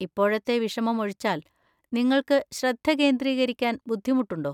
ഇപ്പോഴത്തെ വിഷമമൊഴിച്ചാല്‍ നിങ്ങൾക്ക് ശ്രദ്ധ കേന്ദ്രീകരിക്കാൻ ബുദ്ധിമുട്ടുണ്ടോ?